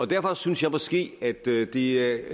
derfor synes jeg måske at det det